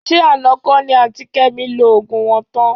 Ṣé àná kọ́ ni àǹtí Kẹ́mi lo òògùn wọn tán?